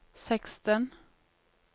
seksten